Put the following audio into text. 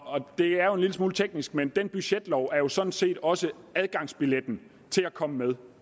er jo en lille smule teknisk men den budgetlov er sådan set også adgangsbilletten til at komme med